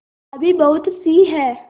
अभी बहुतसी हैं